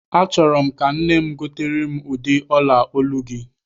Achọrọ m ka nne m gotere m ụdị ọla olu gị.